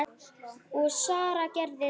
Og Sara gerði það.